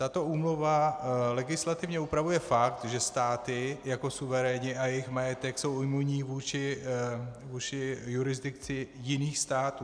Tato úmluva legislativně upravuje fakt, že státy jako suveréni a jejich majetek jsou imunní vůči jurisdikci jiných států.